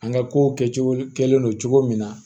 An ka ko kɛcogo kɛlen don cogo min na